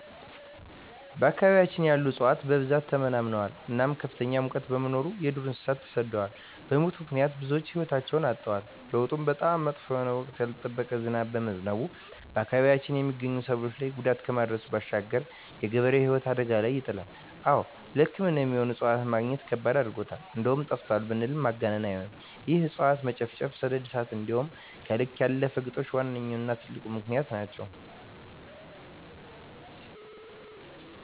በአካባቢያችን ያሉ እፅዋት በብዛት ተመናምነዋል እናም ከፍተኛ ሙቀት በመኖሩ የዱር እንሰሳት ተሰደዋል በሙት ምክንያት ብዙወች ህይወታቸዉን አጠዋል። ለዉጡም በጣም መጥፎ የሆነ ወቅቱን ያልጠበቀ ዝናብ በመዝነቡ በአካባቢያችን የመገኙ ሰብሎች ላይ ጉዳት ከማድረሱም ባሻገር የገበሬዉን ህይወት አደጋ ላይ ይጥላል። አወ ለሕክምና የሚሆኑ እፅዋትን መግኘት ከባድ አድርጎታል እንደዉም ጠፍተዋል ብንል ማጋነን አይሆንም ይህም የእፅዋት መጨፍጨፍ፣ ሰደድ እሳት እንዲሆም ከልክ ያለፈ ግጦሽ ዋነኛዉና ትልቁ ምክንያት ናቸዉ።